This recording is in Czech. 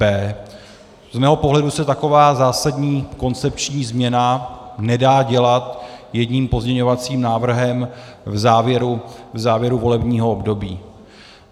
B. Z mého pohledu se taková zásadní koncepční změna nedá dělat jedním pozměňovacím návrhem v závěru volebního období.